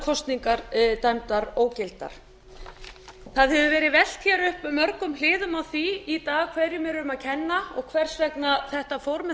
kosningar dæmdar ógildar það hefur verið velt hér upp mörgum hliðum á því í dag hverjum er um að kenna og hvers vegna þetta fór með